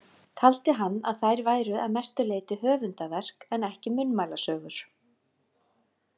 Taldi hann að þær væru að mestu leyti höfundaverk en ekki munnmælasögur.